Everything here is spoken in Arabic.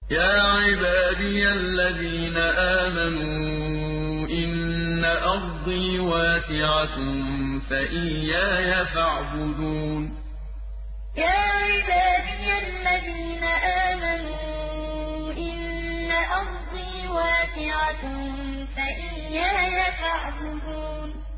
يَا عِبَادِيَ الَّذِينَ آمَنُوا إِنَّ أَرْضِي وَاسِعَةٌ فَإِيَّايَ فَاعْبُدُونِ يَا عِبَادِيَ الَّذِينَ آمَنُوا إِنَّ أَرْضِي وَاسِعَةٌ فَإِيَّايَ فَاعْبُدُونِ